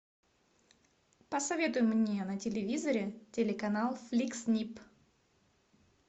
посоветуй мне на телевизоре телеканал фликс снип